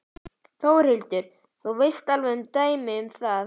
Þórhildur: Þú veist alveg um dæmi um það?